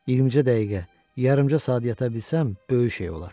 İyirmicə dəqiqə, yarımca saat yata bilsəm, böyük şey olar.